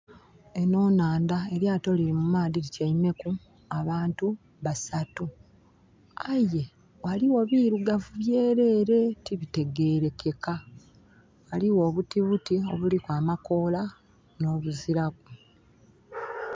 Eno nhanda, elyato liri mu maadhi lityaimeku abantu basatu. Aye waliwo birugavu byerere tibitegerekeka. Waliwo obutibuti obulliku amakoola no buziraku